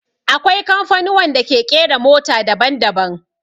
Akwai kamfanuwan da ke ƙera mota daban daban